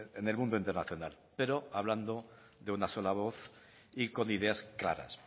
en el mundo internacional pero hablando de una sola voz y con ideas claras